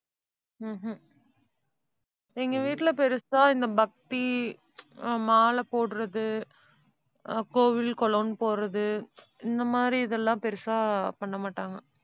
ஹம் உம் எங்க வீட்டுல பெருசா இந்த பக்தி, அஹ் மாலை போடுறது, அஹ் கோவில் குளம்னு போறது, இந்த மாதிரி இதெல்லாம் பெருசா பண்ணமாட்டாங்க.